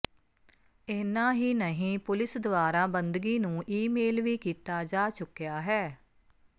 ਇੰਨਾ ਹੀ ਨਹੀਂ ਪੁਲਿਸ ਦੁਆਰਾ ਬੰਦਗੀ ਨੂੰ ਈਮੇਲ ਵੀ ਕੀਤਾ ਜਾ ਚੁੱਕਿਆ ਹੈ